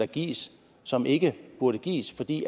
gives som ikke burde gives fordi